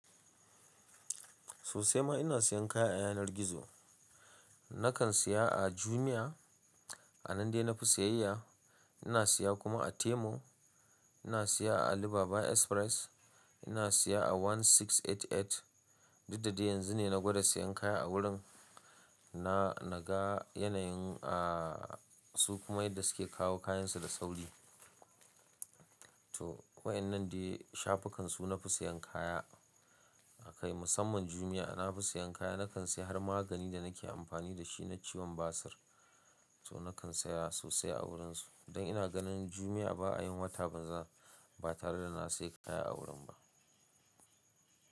Sosai ma ina siyan kaya a yanar gizo. Nakan siya a Jumia, a nan dai na fi siyayya. Ina siya kuma a Temu, ina siya a Alibaba Express, ina siya a One six eight eight. Duk da dai yanzu ne na gwada siyan kaya a wurin na, na ga yanayin a su kuma inda suke kawo kayansu da sauri. To waɗannan ne dai shafukan, su na fi siyan kaya. Akai musamman Jumia na fi siyan kaya. Nakan siya har magani da nake amfani da shi na ciwon basir. To nakan siya sosai a wurinsu. Don ina ganin Jumia ba a yin wata banza ba tare da na siya kaya a wurin ba.